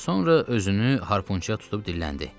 Sonra özünü harpunçuya tutub dilləndi.